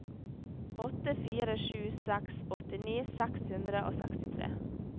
åtte fire sju seks åttini seks hundre og sekstitre